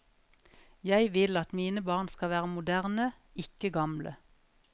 Jeg vil at mine barn skal være moderne, ikke gamle.